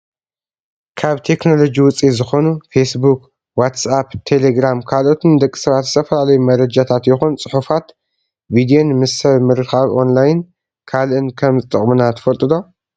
ካብ ቴክኖሎጂ ውፂኢት ዝኮኑ ፌስቡክ፣ ዋትሳፕ፣ ቴሌግራም ካልኦትን ንደቂ ሰባት ዝተፈላለዩ መረጃታት ይኩን ፅሑፋት ቪዶን ምስ ሰብ ምርካብ ኦንላይን ካልእን ከም ዝጠቅሙና ትፈልጡ ዶ ?